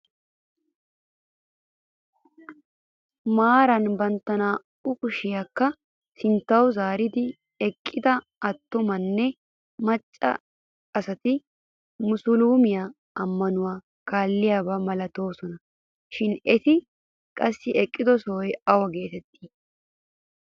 Maarara bantta naa"u kushshiyaakka sinttawu zaaridi eqqida attumanne macca asati musulumee ammanuwaa kaalliyaaba milatoosona shin eti qassi eqqido sohoy awa geetettii?